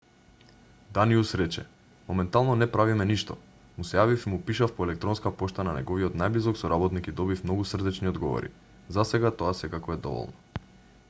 даниус рече моментално не правиме ништо му се јавив и му пишав по електронска пошта на неговиот најблизок соработник и добив многу срдечни одговори засега тоа секако е доволно